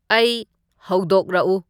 ꯑꯩ ꯍꯧꯗꯣꯛꯔꯛꯎ